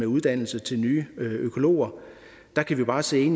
uddannelse til nye økologer der kan vi bare se i